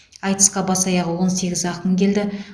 айтысқа бас аяғы он сегіз ақын келді